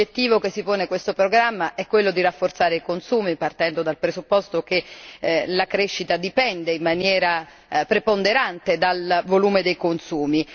L'obiettivo che si pone questo programma è quello di rafforzare i consumi, partendo dal presupposto che la crescita dipende in maniera preponderante dal volume dei consumi.